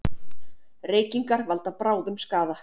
Reykingar valda bráðum skaða